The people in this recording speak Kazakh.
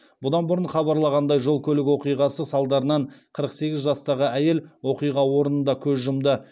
бұдан бұрын хабарланғандай жол көлік оқиғасы салдарынан қырық сегіз жастағы әйел оқиға орнында көз жұмды